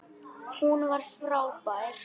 Hún var frábær.